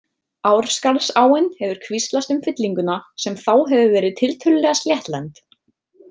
Árskarðsáin hefur kvíslast um fyllinguna sem þá hefur verið tiltölulega sléttlend.